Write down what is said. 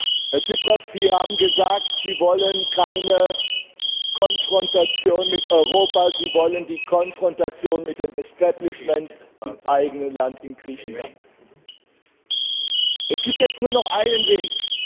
Herr Präsident! Herr Tsipras, Sie haben gesagt, Sie wollen keine Konfrontation mit Europa, Sie wollen die Konfrontation mit dem Establishment im eigenen Land, in Griechenland. Es gibt jetzt nur noch einen Weg.